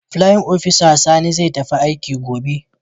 playin opisa Sani zai tafi aiki gobe.